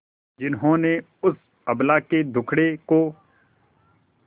जिन्होंने उस अबला के दुखड़े को